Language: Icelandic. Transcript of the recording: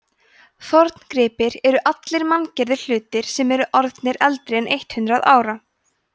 forngripir eru allir manngerðir hlutir sem eru orðnir eldri en eitt hundruð ára